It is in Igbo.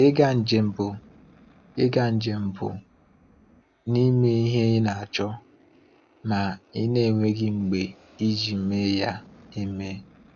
Ịga njem bụ Ịga njem bụ n’ime ihe ị na-achọ, ma ị na-enweghị mgbe iji mee ya eme.